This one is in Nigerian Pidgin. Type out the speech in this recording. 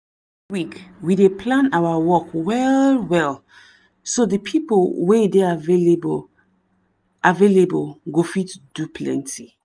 every week we dey plan our work well-well so de pipo wey dey available available go fit do plenty.